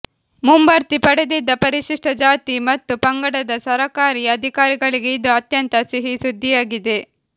ಮುಂಬಡ್ತಿ ಪಡೆದಿದ್ದ ಪರಿಶಿಷ್ಟ ಜಾತಿ ಮತ್ತು ಪಂಗಡದ ಸರಕಾರಿ ಅಧಿಕಾರಿಗಳಿಗೆ ಇದು ಅತ್ಯಂತ ಸಿಹಿ ಸುದ್ದಿಯಾಗಿದೆ